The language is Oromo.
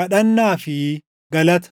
Kadhannaa fi Galata